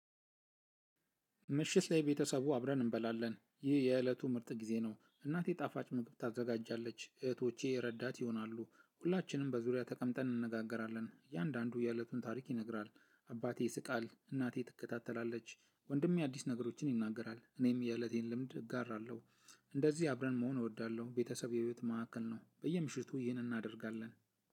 ምሽት ላይ ቤተሰቡ አብረን እንበላለን ይህ የእለቱ ምርጥ ጊዜ ነው። እናቴ ጣፋጭ ምግብ ታዘጋጃለች እህቶቼ ረዳት ይሆናሉ ሁላችንም በዙሪያ ተቀምጠን እንነጋገራለን። እያንዳንዱ ያእለቱን ታሪክ ይነግራል። አባቴ ይስቃል እናቴ ትከታተላለች ወንድሜ አዲስ ነገሮችን ይናገራል እኔም የእለቴን ልምድ እጋራለሁ። እንደዚህ አብረን መሆን እወዳለሁ። ቤተሰብ የቤት ማዕከል ነው። በየምሽቱ ይህንን እናደርጋለን።